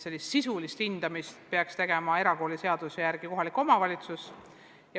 Sisulist hindamist peaks erakooliseaduse järgi tegema kohalik omavalitsus.